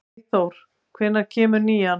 Freyþór, hvenær kemur nían?